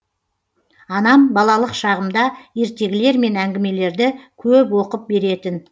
анам балалық шағымда ертегілер мен әңгімелерді көп оқып беретін